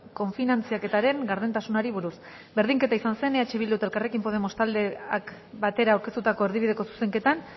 kofinantzaketaren gardentasunari buruz berdinketa izan zen eh bildu eta elkarrekin podemos taldeak batera aurkeztutako erdibideko zuzenketan